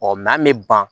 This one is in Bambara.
an bɛ ban